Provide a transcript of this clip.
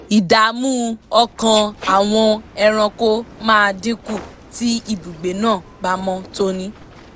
ìdààmú ọkàn àwọn ẹranko máa dín kù tí ibùgbé náà bá mọ́ tóní